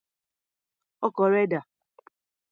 Ọkọ̀ rẹ dà?